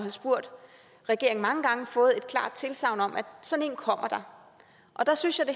have spurgt regeringen mange gange fået et klart tilsagn om at sådan en kommer der der synes jeg at